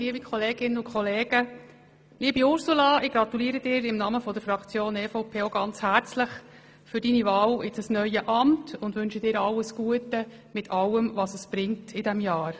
Liebe Ursula, ich gratuliere dir auch im Namen der EVP-Fraktion ganz herzlich zu deiner Wahl in das neue Amt und wünsche dir alles Gute, für alles, was dieses Jahr mit sich bringen wird.